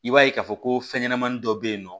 I b'a ye k'a fɔ ko fɛn ɲɛnɛmani dɔ bɛ yen nɔ